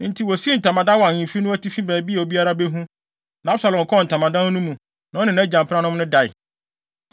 Enti wosii ntamadan wɔ ahemfi no atifi baabi a obiara behu, na Absalom kɔɔ ntamadan no mu, na ɔne nʼagya mpenanom no dae.